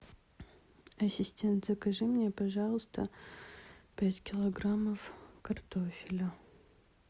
ассистент закажи мне пожалуйста пять килограммов картофеля